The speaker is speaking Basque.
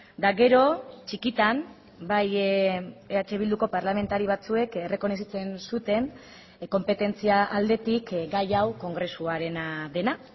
eta gero txikitan bai eh bilduko parlamentari batzuek errekonozitzen zuten konpetentzia aldetik gai hau kongresuarena dena